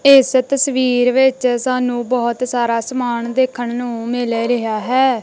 ਤੇ ਇਸ ਤਸਵੀਰ ਵਿੱਚ ਸਾਨੂੰ ਬਹੁਤ ਸਾਰਾ ਸਮਾਨ ਦੇਖਣ ਨੂੰ ਮਿਲ ਰਿਹਾ ਹੈ।